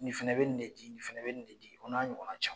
Nin fana bɛ ni de di nin fana bɛ nin de di o n'a ɲɔgɔnna caman.